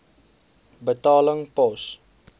betaling pos